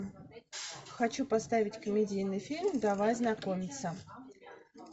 хочу поставить комедийный фильм давай знакомиться